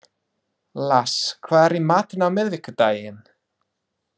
Lars, hvað er í matinn á miðvikudaginn?